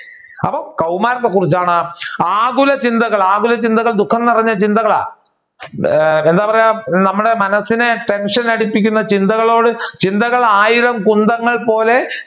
അപ്പൊ കൗമാരത്തെ കുറിച്ചാണ് ആകുല ചിന്തകൾ ആകുല ചിന്തകൾ ദുഃഖം നിറഞ്ഞ ചിന്തകളാ. എന്താ പറയുക നമ്മുടെ മനസ്സിനെ tension അടിപ്പിക്കുന്ന ചിന്തകളോട് ചിന്തകളായിരം കുന്തങ്ങൾ പോലെ